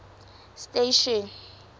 station